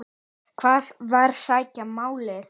Hvar á að sækja málið?